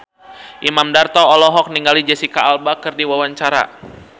Imam Darto olohok ningali Jesicca Alba keur diwawancara